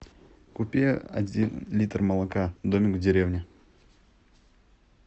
купи один литр молока домик в деревне